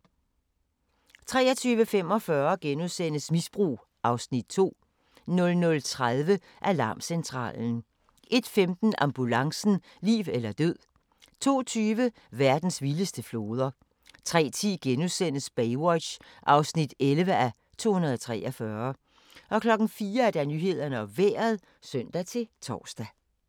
23:45: Misbrug (Afs. 2)* 00:30: Alarmcentralen 01:15: Ambulancen - liv eller død 02:20: Verdens vildeste floder 03:10: Baywatch (11:243)* 04:00: Nyhederne og Vejret (søn-tor)